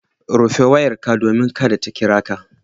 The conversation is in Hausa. Rufe wayarka domin kada ta kira ka.